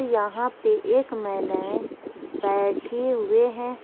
यहां पर एक महिलाएं बैठे हुए हैं।